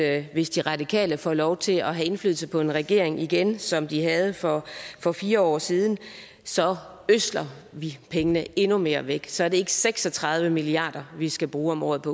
at hvis de radikale får lov til at have indflydelse på en regering igen som de havde for for fire år siden så ødsler vi pengene endnu mere væk så er det ikke seks og tredive milliard kr vi skal bruge om året